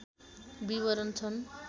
विवरण छन्